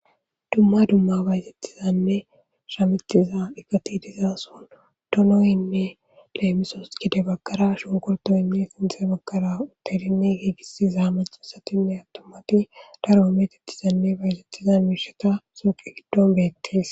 Duma duma bayzetizane shametiza eqati de'iza sohon donoyne leemisos gede bagara shunkurtoyne sinthe bagara yegisiza macasatine atumati daro meetetiza miishata suuqe gidon beetes.